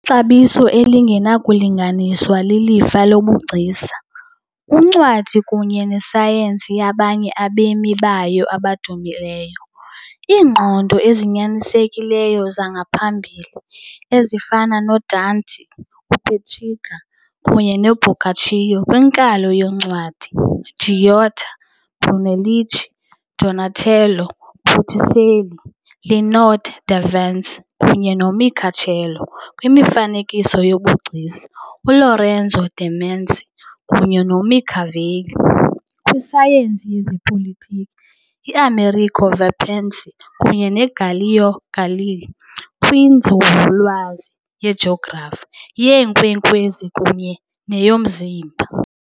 Ixabiso elingenakulinganiswa lilifa lobugcisa, uncwadi kunye nesayensi yabanye abemi bayo abadumileyo, iingqondo ezinyanisekileyo zangaphambili, ezifana noDante, uPetrarca kunye noBoccaccio kwinkalo yoncwadi, Giotto, Brunelleschi, Donatello, Botticelli, Leonardo da Vinci kunye noMichelangelo kwimifanekiso yobugcisa, U-Lorenzo de' Medici kunye noMachiavelli kwisayensi yezopolitiko, I-Amerigo Vespucci kunye noGalileo Galilei kwinzululwazi yejografi, yeenkwenkwezi kunye neyomzimba.